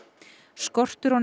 skortur á